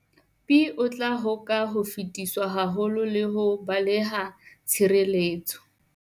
Pi, o tla hoka ho fetiswa haholo le ho baleha tshireletseho.